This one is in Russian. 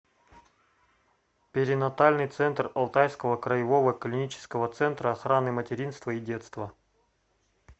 перинатальный центр алтайского краевого клинического центра охраны материнства и детства